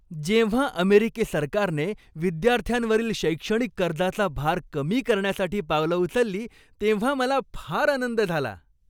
जेव्हा अमेरिकी सरकारने विद्यार्थ्यांवरील शैक्षणिक कर्जाचा भार कमी करण्यासाठी पावलं उचलली तेव्हा मला फार आनंद झाला.